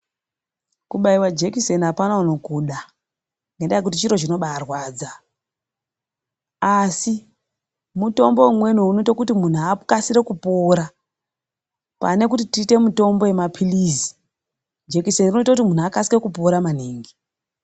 Kubaiwa jekiseni hapana unokuda. Nendaa yekuti chiro chinobaarwadza. Asi mutombo umweni unoita kuti muntu akasire kupora, pane kuti tiite mutombo wemaphirizi, jekiseni inoita kuti muntu akasike kupora maningi.